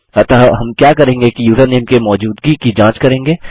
अतः हम क्या करेंगे कि यूज़रनेम के मौजूदगी की जाँच करेंगे